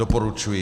Doporučuji.